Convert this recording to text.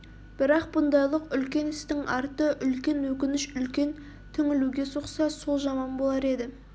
бірақ бұндайлық үлкен істің арты үлкен өкініш үлкен түңілуге соқса сол жаман болар еді